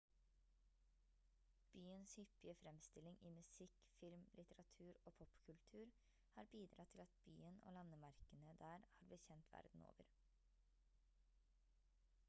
byens hyppige fremstilling i musikk film litteratur og popkultur har bidratt til at byen og landemerkene der har blitt kjent verden over